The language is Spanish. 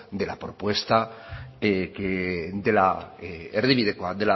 de la propuesta de la erdibidekoa